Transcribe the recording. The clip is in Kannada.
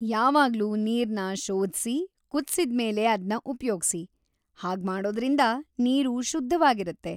ಯಾವಾಗ್ಲೂ ನೀರ್‌ನ ಶೋಧ್ಸಿ, ಕುದ್ಸಿದ್ಮೇಲೇ ಅದ್ನ ಉಪ್ಯೋಗ್ಸಿ, ಹಾಗ್ಮಾಡೋದ್ರಿಂದ ನೀರು ಶುದ್ಧವಾಗಿರತ್ತೆ.